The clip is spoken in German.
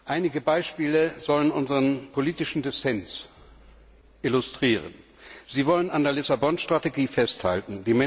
Einige Beispiele sollen unseren politischen Dissens illustrieren Sie wollen an der Lissabon Strategie festhalten.